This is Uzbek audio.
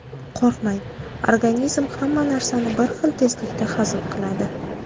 Qo‘rqmang: organizm hamma narsani bir xil tezlikda hazm qiladi.